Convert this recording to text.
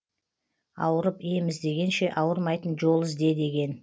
ауырып ем іздегенше ауырмайтын жол ізде деген